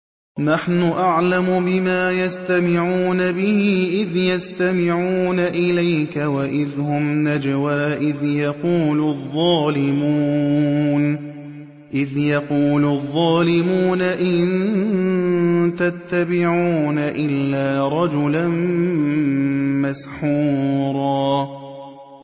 نَّحْنُ أَعْلَمُ بِمَا يَسْتَمِعُونَ بِهِ إِذْ يَسْتَمِعُونَ إِلَيْكَ وَإِذْ هُمْ نَجْوَىٰ إِذْ يَقُولُ الظَّالِمُونَ إِن تَتَّبِعُونَ إِلَّا رَجُلًا مَّسْحُورًا